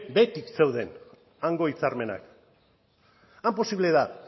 beti zeuden hango hitzarmenak han posible da